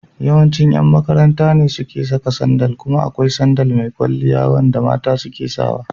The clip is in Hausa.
Yawancin yan makaranta ne suke saka sandal kuma da akwai sandal mai kwalliya wanda mata suke sawa.